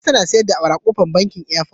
Nefisat na sayar da awara a bakin kofar airport